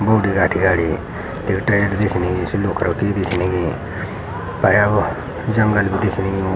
बोडी राठी आड़ि तिक टैर दिखणी सी लोखरौ की दिखनेगी तयाब जंगल भी दिखणी यूँ।